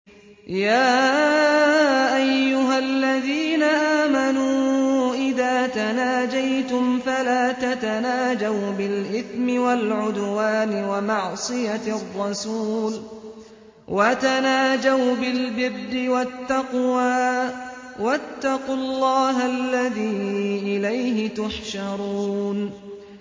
يَا أَيُّهَا الَّذِينَ آمَنُوا إِذَا تَنَاجَيْتُمْ فَلَا تَتَنَاجَوْا بِالْإِثْمِ وَالْعُدْوَانِ وَمَعْصِيَتِ الرَّسُولِ وَتَنَاجَوْا بِالْبِرِّ وَالتَّقْوَىٰ ۖ وَاتَّقُوا اللَّهَ الَّذِي إِلَيْهِ تُحْشَرُونَ